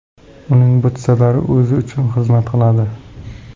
Uning butsalari o‘zi uchun xizmat qiladi.